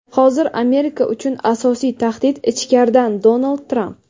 hozir Amerika uchun asosiy tahdid - ichkaridan – Donald Tramp.